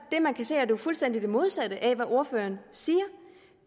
det man kan se jo fuldstændig det modsatte af hvad ordføreren siger